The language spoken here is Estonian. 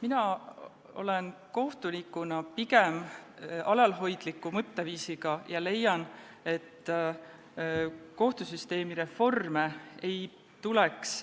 Mina olen kohtunikuna pigem alalhoidliku mõtteviisiga ja leian, et kohtusüsteemi reforme ei tuleks